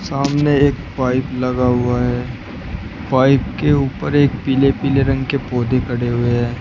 सामने एक पाइप लगा हुआ है पाइप के ऊपर एक पीले पीले रंग के पौधे खड़े हुए हैं।